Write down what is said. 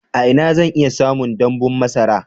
A ina zan iya samun damɓun masara?